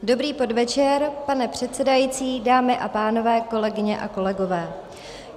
Dobrý podvečer, pane předsedající, dámy a pánové, kolegyně a kolegové.